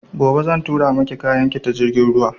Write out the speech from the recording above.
Gobe zan tura maki kayan ki ta jirgin ruwa